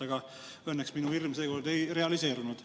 Aga õnneks minu hirm seekord ei realiseerunud.